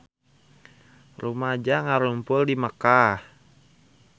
Rumaja ngarumpul di Mekkah